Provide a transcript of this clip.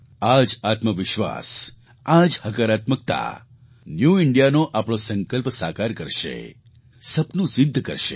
આ જ આત્મવિશ્વાસ આ જ હકારાત્મકતા ન્યૂ Indiaનો આપણો સંકલ્પ સાકાર કરશે સપનું સિદ્ધ કરશે